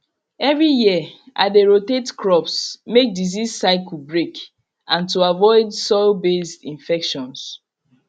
every year i dey rotate crops make disease cycle break and to avoid soilbased infections